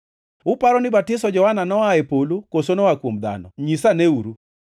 Uparo ni batiso Johana noa e polo koso noa kuom dhano? Nyisaneuru!”